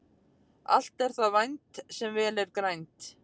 Allt er það vænt sem vel er grænt.